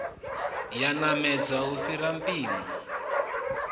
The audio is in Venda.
yo namedza lu fhiraho mpimo